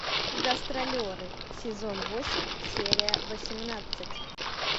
гастролеры сезон восемь серия восемнадцать